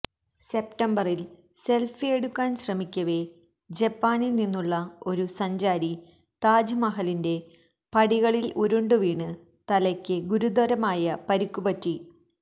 സെപ്തംബറില് സെല്ഫിയെടുക്കാന് ശ്രമിക്കവേ ജപ്പാനില് നിന്നുള്ള ഒരു സഞ്ചാരി ടാജ്മഹലിന്റെ പടികളില് ഉരുണ്ടുവീണ് തലയ്ക്ക് ഗുരുതരമായ പരിക്കുപറ്റി